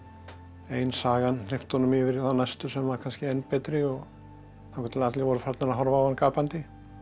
ein sagan hleypti honum yfir í næstu sem var kannski enn betri þangað til allir voru farnir að horfa á hann gapandi